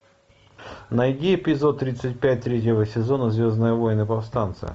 найди эпизод тридцать пять третьего сезона звездные войны повстанцы